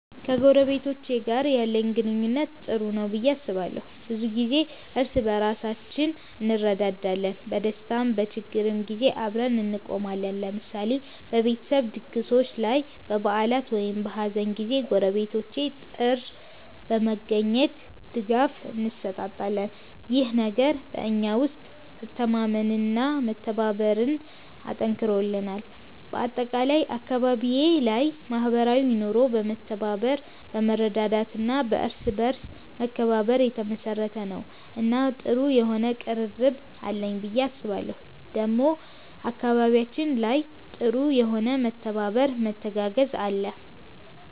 ከጎረቤቶቼ ጋር ያለኝ ግንኙነት ጥሩ ነው ብዬ አስባለሁ። ብዙ ጊዜ እርስ በርሳችን እንረዳዳለን፣ በደስታም በችግርም ጊዜ አብረን እንቆማለን። ለምሳሌ በቤተሰብ ድግሶች ላይ፣ በበዓላት ወይም በሀዘን ጊዜ ጎረቤቶቼ ጥር በመገኘት ድጋፍ እንሰጣጣለን። ይህ ነገር በእኛ ውስጥ መተማመንና መተባበርን አጠንክሮልናል። በአጠቃላይ አካባቢዬ ላይ ማህበራዊ ኑሮ በመተባበር፣ በመረዳዳት እና በእርስ በርስ መከባበር የተመሰረተ ነው እና ጥሩ የሆነ ቅርርብ አለኝ ብዬ አስባለሁ ዴሞ አካባቢያችን ላይ ጥሩ የሆነ መተባበር መተጋገዝ አለ።